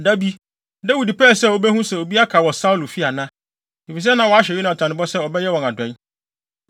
Da bi, Dawid pɛɛ sɛ obehu sɛ obi aka wɔ Saulo fi ana. Efisɛ na wahyɛ Yonatan bɔ sɛ ɔbɛyɛ wɔn adɔe.